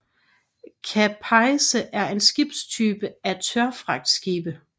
Capesize er en skibstype af tørfragtskibe